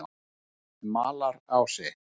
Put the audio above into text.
Malarási